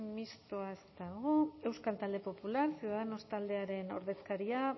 mistoa ez dago euskal talde popular ciudadanos taldearen ordezkaria